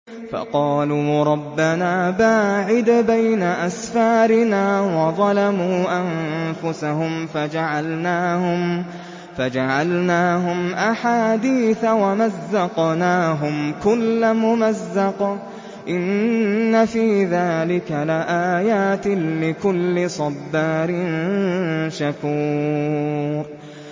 فَقَالُوا رَبَّنَا بَاعِدْ بَيْنَ أَسْفَارِنَا وَظَلَمُوا أَنفُسَهُمْ فَجَعَلْنَاهُمْ أَحَادِيثَ وَمَزَّقْنَاهُمْ كُلَّ مُمَزَّقٍ ۚ إِنَّ فِي ذَٰلِكَ لَآيَاتٍ لِّكُلِّ صَبَّارٍ شَكُورٍ